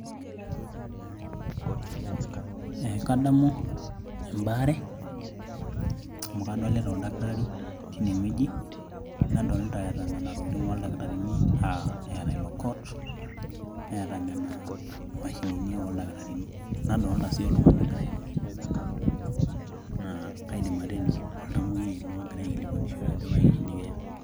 Kadamu embaare amu kadolita oldakitaari teine wueji, nadolita eata nena tokitin oldakitarini aa eata ilo coat neata nena mashinini oldakitarini nadolita sii oltung'ani og'ira airorie, naa kaidim atejo oltamwoyiai ilo ogira aikilikwanishore ajo kaji nikia.